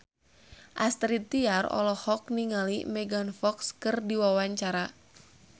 Astrid Tiar olohok ningali Megan Fox keur diwawancara